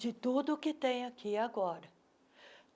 de tudo o que tem aqui agora.